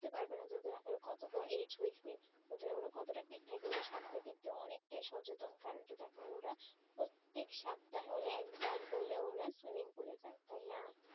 বুঝতে পারবেনা যে আসলে ওদের কত বয়েস age হয়েছে ওদের ওরা কতটা fit থাকে তো ওদের স্বাস্থের দিকে অনেকটাই সচেতন কারণ কি দেখ ওরা প্রত্যেক সপ্তাহে হলেও একবার হলেও ওরা swimming pool এ যায় তাইনা,